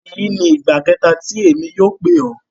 Eyi ni igba kẹta ti emi yóò pe ọ.